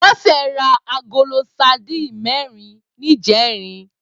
Bose rá àgóló sàdín mèrín nijèrín